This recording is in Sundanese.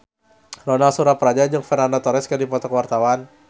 Ronal Surapradja jeung Fernando Torres keur dipoto ku wartawan